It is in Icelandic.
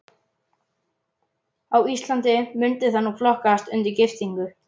Á Íslandi mundi það nú flokkast undir giftingu.